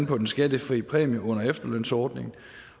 på den skattefri præmie under efterlønsordningen